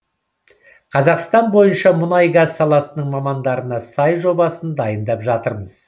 қазақстан бойынша мұнай газ саласының мамандарына сай жобасын дайындап жатырмыз